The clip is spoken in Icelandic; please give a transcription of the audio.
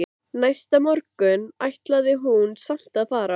Næsta morgun ætlaði hún samt að fara.